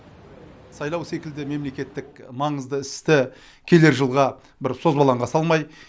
сайлау секілді мемлекеттік маңызды істі келер жылға созбалаңға салмай